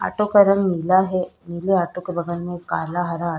auto का रंग नीला है नीले ऑटो के बगल में काला हरा --